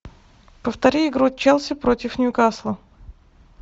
повтори игру челси против ньюкасла